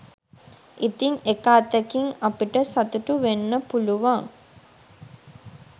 ඉතින් එක අතකින් අපිට සතුටුවෙන්න පුලුවන්